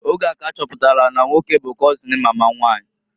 Oge a ka ha chọpụtalụ na na nwoke bu kọzịn mama nwanyị.